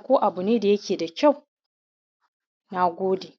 ko kake so. Na gode.